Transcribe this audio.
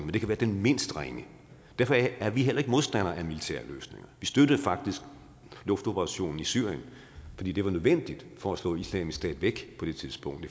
det kan være den mindst ringe derfor er vi heller ikke modstandere af militære løsninger vi støttede faktisk luftoperationen i syrien fordi det var nødvendigt for at slå islamisk stats væk på det tidspunkt